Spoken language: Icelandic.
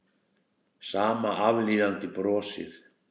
Sama aflíðandi brosið.